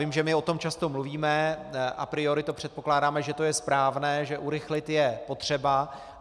Vím, že my o tom často mluvíme, a priori to předpokládáme, že to je správné, že urychlit je potřeba.